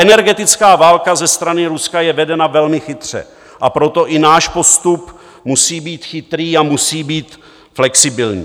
Energetická válka ze strany Ruska je vedena velmi chytře, a proto i náš postup musí být chytrý a musí být flexibilní.